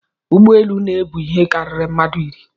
Ụgbọelu na-ebu ihe karịrị mmadụ iri